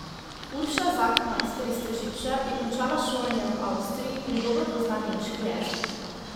Urša Zagmajster iz Tržiča je končala šolanje v Avstriji in dobro pozna nemški jezik.